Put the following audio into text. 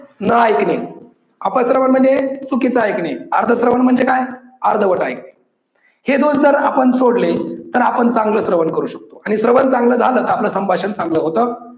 न ऐकणे, अप श्रवण म्हणजे चुकीच ऐकणे, अर्ध श्रवण म्हणजे काय? अर्धवट ऐकणे. हे दोष जर आपण सोडले तर आपण चांगल श्रवण करू शकतो आणि श्रवण चांगल झाल की आपल संभाषण चांगल होतं.